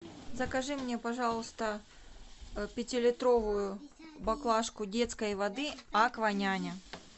закажи мне пожалуйста пятилитровую баклажку детской воды акваняня